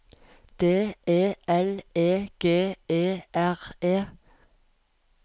D E L E G E R E